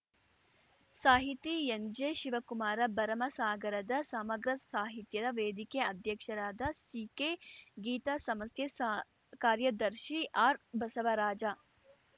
ಸಾಹಿತಿ ಎನ್‌ಜೆಶಿವಕುಮಾರ ಭರಮಸಾಗರದ ಸಮಗ್ರ ಸಾಹಿತ್ಯದ ವೇದಿಕೆ ಅಧ್ಯಕ್ಷರಾದ ಸಿಕೆಗೀತಾ ಸಮಸ್ಥೆ ಸಾ ಕಾರ್ಯದರ್ಶಿ ಆರ್‌ಬಸವರಾಜ